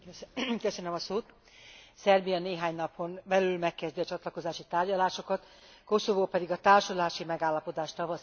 Szerbia néhány napon belül megkezdi a csatlakozási tárgyalásokat, Koszovó pedig a társulási megállapodás tavaszi lezárására készül.